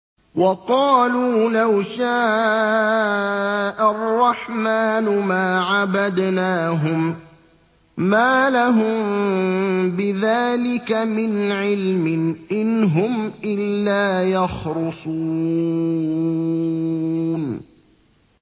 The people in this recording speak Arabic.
وَقَالُوا لَوْ شَاءَ الرَّحْمَٰنُ مَا عَبَدْنَاهُم ۗ مَّا لَهُم بِذَٰلِكَ مِنْ عِلْمٍ ۖ إِنْ هُمْ إِلَّا يَخْرُصُونَ